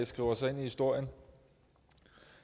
skriver sig ind i historien